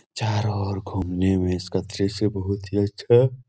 चारो ओर घूमने में इसका दृश्य बहुत ही अच्छा --